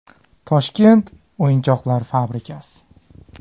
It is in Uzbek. Toshkent o‘yinchoqlar fabrikasi.